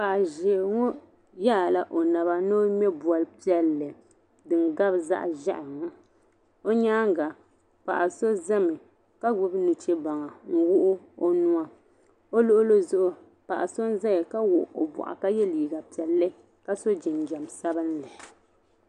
Paɣa ʒee ŋɔ yaai la o naba ni o ŋme bolli piɛlli din gabi zaɣʒehi o nyaaŋa paɣa so zami ka gbubi nuche baŋa n wuɣu o nuwa o luɣuli zuɣu paɣa n zaya ka wuɣu o boɣu ka ye liiga piɛlli ka so jinjam sabinli.